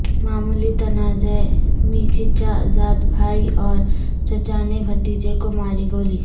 معمولی تنازعہ میںچچا زاد بھائی اور چچا نے بھتیجے کو ماری گولی